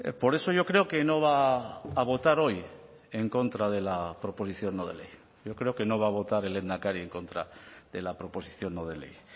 por eso yo creo que no va a votar hoy en contra de la proposición no de ley yo creo que no va a votar el lehendakari en contra de la proposición no de ley